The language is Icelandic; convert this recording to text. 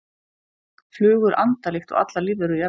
Flugur anda líkt og allar lífverur jarðar.